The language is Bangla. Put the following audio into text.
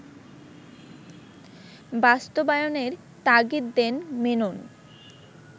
বাস্তবায়নের তাগিদ দেন মেনন